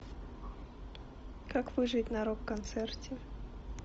как выжить на рок концерте